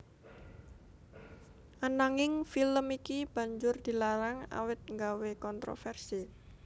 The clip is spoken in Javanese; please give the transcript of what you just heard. Ananging film iki banjur dilarang awit nggawé kontroversi